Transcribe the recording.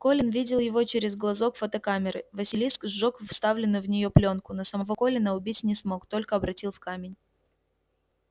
колин видел его через глазок фотокамеры василиск сжёг вставленную в нее плёнку но самого колина убить не смог только обратил в камень